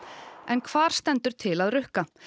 en hvar stendur til að rukka